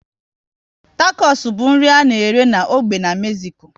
Takos bụ nri a na-ere n'ógbè n'Mezico